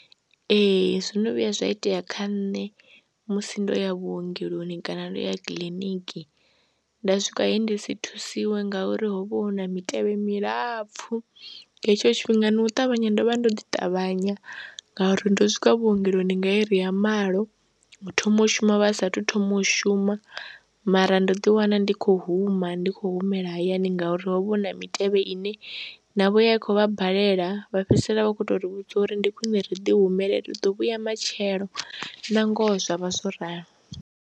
Ee, zwo no vhuya zwa itea kha nṋe musi ndo ya vhuongeloni kana ndo ya kiḽiniki nda swika he ndi si thusiwe ngauri ho vha hu na mitevhe milapfhu nga hetsho tshifhinga no u ṱavhanya ndo vha ndo ḓi ṱavhanya ngauri ndo swika vhuongeloni nga iri ya malo, u thoma u shumiwa vha saathu thoma u shuma mara ndo ḓiwana ndi khou huma, ndi khou humela hayani ngauri ho vha hu na mitevhe ine navho yo khou vha balela vha fhedzisela vha khou tou ri vhudza uri ndi khwiṋe ri ḓihumele ri ḓo vhuya matshelo na ngoho zwa vha zwo ralo.